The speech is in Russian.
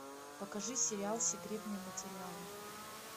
покажи сериал секретные материалы